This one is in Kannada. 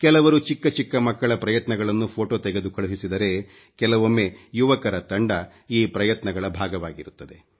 ಕೆಲವರು ಚಿಕ್ಕ ಚಿಕ್ಕ ಮಕ್ಕಳ ಪ್ರಯತ್ನಗಳನ್ನು ಫೊಟೋ ತೆಗೆದು ಕಳುಹಿಸಿದರೆ ಕೆಲವೊಮ್ಮೆ ಯುವಕರ ತಂಡ ಈ ಪ್ರಯತ್ನಗಳ ಭಾಗವಾಗಿರುತ್ತದೆ